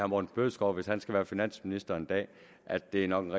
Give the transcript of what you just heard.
morten bødskov hvis han skal være finansminister en dag at det nok er